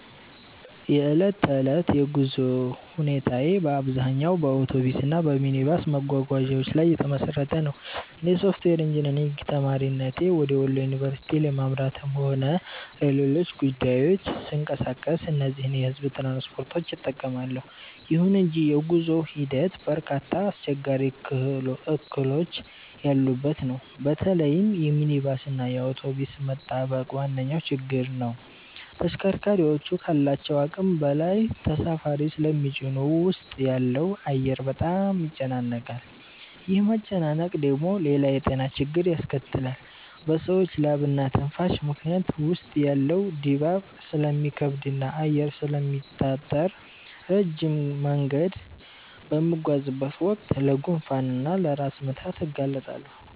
የዕለት ተዕለት የጉዞ ሁኔታዬ በአብዛኛው በአውቶቡስ እና በሚኒባስ መጓጓዣዎች ላይ የተመሰረተ ነው። እንደ ሶፍትዌር ኢንጂነሪንግ ተማሪነቴ ወደ ወሎ ዩኒቨርሲቲ ለማምራትም ሆነ ለሌሎች ጉዳዮች ስንቀሳቀስ እነዚህን የሕዝብ ትራንስፖርቶች እጠቀማለሁ። ይሁን እንጂ የጉዞው ሂደት በርካታ አስቸጋሪ እክሎች ያሉበት ነው። በተለይም የሚኒባስ እና የአውቶቡስ መጣበቅ ዋነኛው ችግር ነው። ተሽከርካሪዎቹ ካላቸው አቅም በላይ ተሳፋሪ ስለሚጭኑ ውስጥ ያለው አየር በጣም ይጨናነቃል። ይህ መጨናነቅ ደግሞ ሌላ የጤና ችግር ያስከትላል፤ በሰዎች ላብና ትንፋሽ ምክንያት ውስጥ ያለው ድባብ ስለሚከብድና አየር ስለሚታጠር፣ ረጅም መንገድ በምጓዝበት ወቅት ለጉንፋን እና ለራስ ምታት እጋለጣለሁ